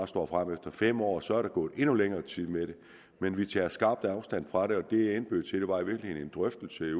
står frem efter fem år og så er der gået endnu længere tid med det men vi tager skarpt afstand fra det det jeg indbød til var i virkeligheden en drøftelse i